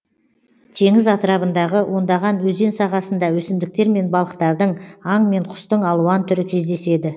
теңіз атырабындағы ондаған өзен сағасында өсімдіктер мен балықтардың аң мен құстың алуан түрі кездеседі